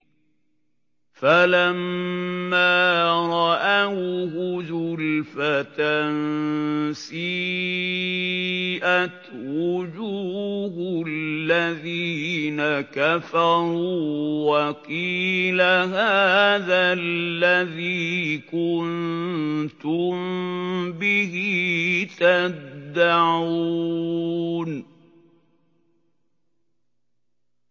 فَلَمَّا رَأَوْهُ زُلْفَةً سِيئَتْ وُجُوهُ الَّذِينَ كَفَرُوا وَقِيلَ هَٰذَا الَّذِي كُنتُم بِهِ تَدَّعُونَ